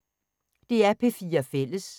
DR P4 Fælles